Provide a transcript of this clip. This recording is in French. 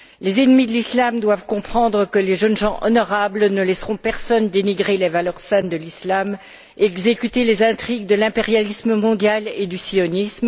Les ennemis de l'islam doivent comprendre que les jeunes gens honorables ne laisseront personne dénigrer les valeurs saintes de l'islam et exécuter les intrigues de l'impérialisme mondial et du sionisme